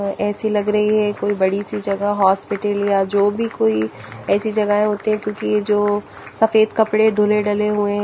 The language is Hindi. इसी लग रही हैं कोई बड़ी सी जगह हॉस्पिटल या जो भी कोई ऐसी जगह होती हैं क्यूंकि जो सफ़ेद कपड़े ढूले डले हुए हैं।